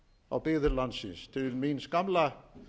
á byggðir landsins til míns gamla